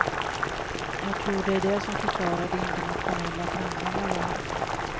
Jag tror det är det som förklarar de internationella framgångar jag haft.